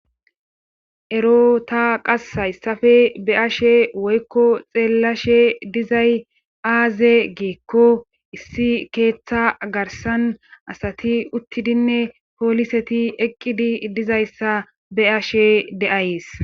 ero ta qas hayssafe be ashe woykko xeellashe dizay aaze giikko issi keeththa garsan asati uttidinne pooliseti eqqidi dizayssa beashe de7ays